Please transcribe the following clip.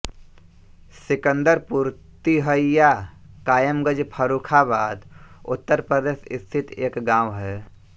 सिकन्दरपुर तिहइया कायमगंज फर्रुखाबाद उत्तर प्रदेश स्थित एक गाँव है